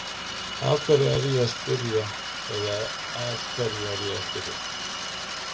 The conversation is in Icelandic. Af hverju er ég að spyrja eða að hverju er ég að spyrja?